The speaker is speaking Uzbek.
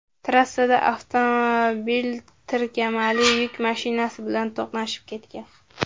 Trassada avtomobil tirkamali yuk mashinasi bilan to‘qnashib ketgan.